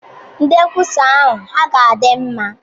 Ndị nkwusa ahụ hà dị mma?